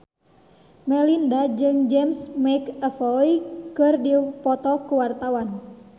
Melinda jeung James McAvoy keur dipoto ku wartawan